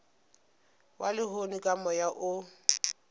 wa lehono ka moya o